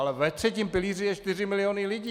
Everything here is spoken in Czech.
Ale ve třetím pilíři jsou 4 miliony lidí.